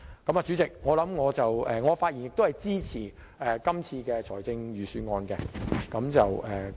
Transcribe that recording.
代理主席，我發言支持今次的預算案。